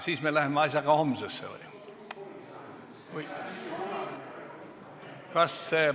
Siis me läheme asjaga homsesse või?